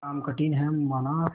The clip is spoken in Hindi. काम कठिन हैमाना